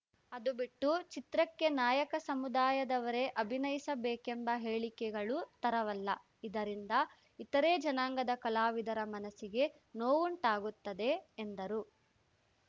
ಅದು ಬಿಟ್ಟು ಚಿತ್ರಕ್ಕೆ ನಾಯಕ ಸಮುದಾಯದವರೇ ಅಭಿನಯಿಸಬೇಕೆಂಬ ಹೇಳಿಕೆಗಳು ತರವಲ್ಲ ಇದರಿಂದ ಇತರೇ ಜನಾಂಗದ ಕಲಾವಿದರ ಮನಸಿಗೆ ನೋವುಂಟಾಗುತ್ತದೆ ಎಂದರು